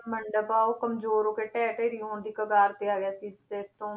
ਮੰਡਪ ਆ ਉਹ ਕੰਮਜ਼ੋਰ ਹੋ ਕੇ ਢਹਿ ਢੇਰੀ ਹੋਣ ਦੀ ਕਗਾਰ ਤੇ ਆ ਗਿਆ ਸੀ ਤੇ ਤੋਂ